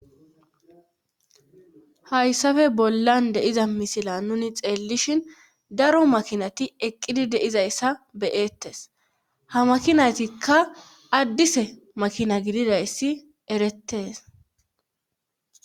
hayssafe bollan deiza misila nuni xeellishin daro makinati eqqidi deizayssa beyeettes ha makinaytikka addise makina gididayssi erettees